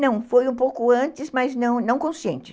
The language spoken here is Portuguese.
Não, foi um pouco antes, mas não, não consciente.